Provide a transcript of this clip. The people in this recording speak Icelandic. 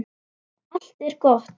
Allt er gott.